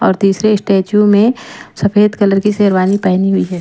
और तीसरे स्टेचू में सफेद कलर की शेरवानी पहनी हुई है।